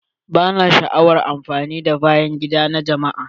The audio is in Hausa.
Bana son amfani da bayan gida na jama'a.